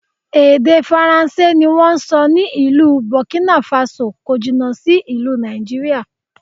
Èdè Faransé ni wón ń sọ ní ìlú Bọ̀kínàfasò, kò jìnà sí ìlú Nàìjíríà.